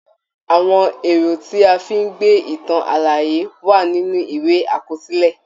Àwọn èrò tí a fi ń gbé ìtàn àlàyé wà nínú ìwé àkọsílẹ̀